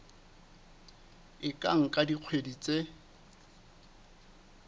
e ka nka dikgwedi tse